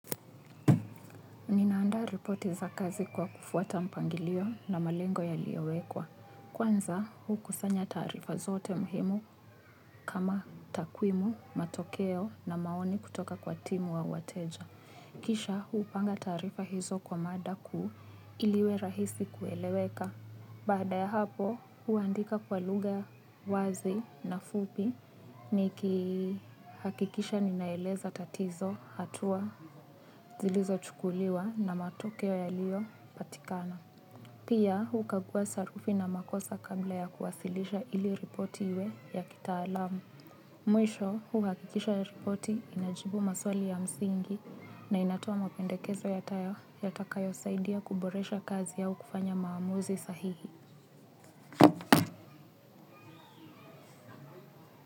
Ninaanda ripoti za kazi kwa kufuata mpangilio na malengo yaliyowekwa. Kwanza, hukusanya taarifa zote muhimu kama takwimu, matokeo na maoni kutoka kwa timu au wateja. Kisha, hupanga taarifa hizo kwa mada ku ili iwe rahisi kueleweka. Baada ya hapo, huandika kwa lugha wazi na fupi nikihakikisha ninaeleza tatizo hatua zilizochukuliwa na matokeo yaliyopatikana. Pia, hukagua sarufi na makosa kabla ya kuwasilisha ili ripoti iwe ya kitaalamu. Mwisho, huhakikisha ripoti inajibu maswali ya msingi na inatoa mapendekezo yatakayosaidia kuboresha kazi au kufanya maamuzi sahihi.